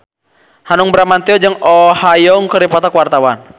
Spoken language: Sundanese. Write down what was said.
Hanung Bramantyo jeung Oh Ha Young keur dipoto ku wartawan